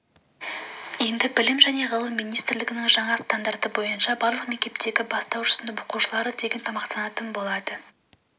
енді білім және ғылым министрлігінің жаңа стандарты бойынша барлық мектептегі бастауыш сынып оқушылары тегін тамақтанатын болады